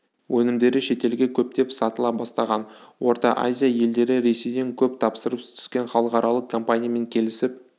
өнімдері шетелге көптеп сатыла бастаған орта азия елдері ресейден көп тапсырыс түскен халықаралық компаниямен келісіп